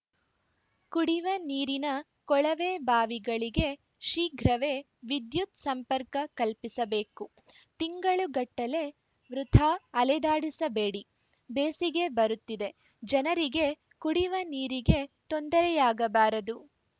ಕುಡಿವ ನೀರಿನ ಕೊಳವೆ ಬಾವಿಗಳಿಗೆ ಶೀಘ್ರವೆ ವಿದ್ಯುತ್‌ ಸಂಪರ್ಕ ಕಲ್ಪಿಸಬೇಕು ತಿಂಗಳುಗಟ್ಟಲೆ ವೃಥಾ ಅಲೆದಾಡಿಸಬೇಡಿ ಬೇಸಿಗೆ ಬರುತ್ತಿದೆ ಜನರಿಗೆ ಕುಡಿವ ನೀರಿಗೆ ತೊಂದರೆಯಾಗಬಾರದು